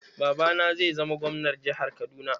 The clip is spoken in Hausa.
Babana zai zama Gwamnar jihar Kaduna.